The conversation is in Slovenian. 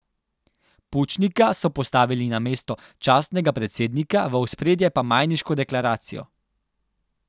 Pučnika so postavili na mesto častnega predsednika, v ospredje pa Majniško deklaracijo.